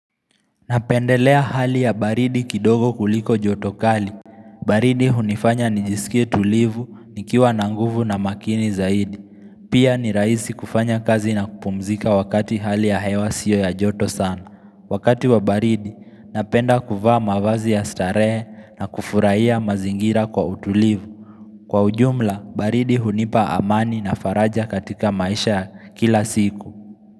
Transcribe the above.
Napendelea hali ya baridi kidogo kuliko jotokali baridi hunifanya nijiskie tulivu nikiwa nanguvu na makini zaidi Pia ni raisi kufanya kazi na kupumzika wakati hali ya hewa sio ya joto sana Wakati wa baridi, napenda kuvaa mavazi ya starehe na kufuraiya mazingira kwa utulivu Kwa ujumla, baridi hunipa amani na faraja katika maisha kila siku.